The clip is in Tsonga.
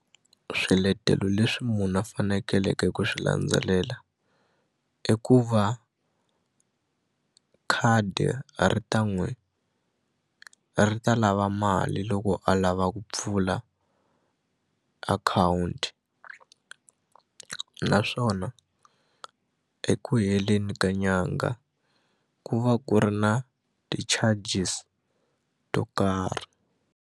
Swiletelo leswi munhu a fanekeleke ku swi landzelela i ku va khadi ri ta n'wi ri ta lava mali loko a lava ku pfula akhawunti naswona eku heleni ka nyanga ku va ku ri na ti-charges to karhi.